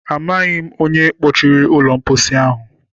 Amaghị m onye kpọchiri ụlọ mposi ahụ.